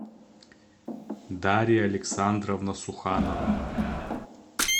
дарья александровна суханова